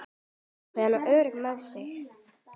Ákveðin og örugg með sig.